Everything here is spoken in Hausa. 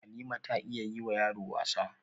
Halima ta iya yi wa yaro wasa